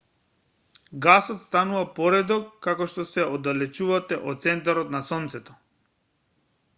гасот станува поредок како што се оддалечувате од центарот на сонцето